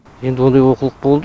енді ондай олқылық болды